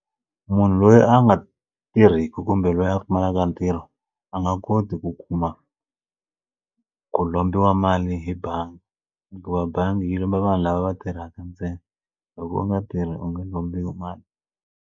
Munhu loyi a nga tirhiku kumbe loyi a pfumalaka ntirho a nga koti ku kuma ku lombiwa mali hi bangi hikuva bangi yi lomba vanhu lava va tirhaka ntsena loko u nga tirhi u nga lombiwa mali.